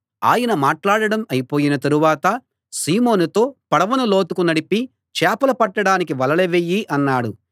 ఆయన మాట్లాడడం అయిపోయిన తరువాత సీమోనుతో పడవను లోతుకు నడిపి చేపలు పట్టడానికి వలలు వెయ్యి అన్నాడు